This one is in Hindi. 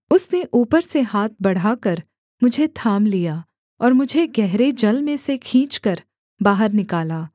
उसने ऊपर से हाथ बढ़ाकर मुझे थाम लिया और मुझे गहरे जल में से खींचकर बाहर निकाला